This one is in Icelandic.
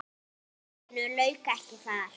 En málinu lauk ekki þar.